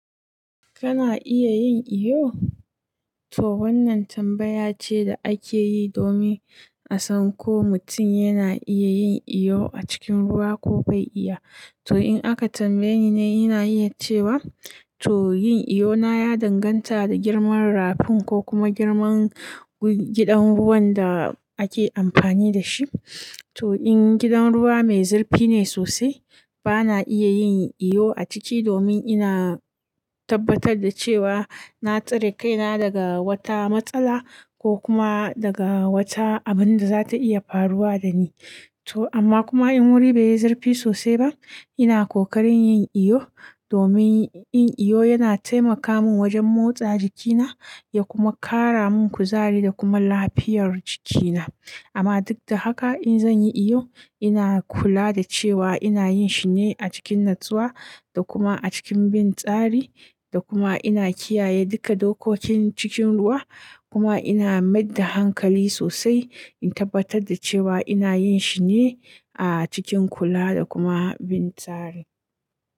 Kana iya yin iyo? To wannan tambaya ce da ake yi domin a san ko mutum yana iya yin iyo a cikin ruwa ko bai iya. To in aka tambaye ni, ina iya cewa to yin iyo na ya danganta da girman rafin ko kuma girman gidan ruwan da ake amfani da shi. To in gidan ruwa mai zurfi ne sosai, ba na iya yin iyo a ciki domin ina tabbatar da cewa na tsare kaina daga wata matsala ko kuma daga wata abin da za ta iya faruwa da ni. To amma kuma in wuri bai yi zurfi sosai ba, ina ƙoƙarin yin iyo domin yin iyo yana taimaka min wajen motsa jikina ya kuma ƙara min kuzari da kuma lafiyar jikina. Amma duk da haka, in zan yi iyo, ina kula da cewa ina yin shi ne a cikin natsuwa da kuma a cikin bin tsari da kuma ina kiyaye duka dokokin cikin ruwa. Kuma ina maida hankali sosai in tabbatar da cewa ina yin shi ne a cikin kula da kuma bin tsari.